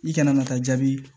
I kana na taa jaabi